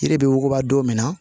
Yiri bɛ wuguba don min na